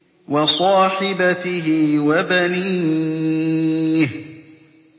وَصَاحِبَتِهِ وَبَنِيهِ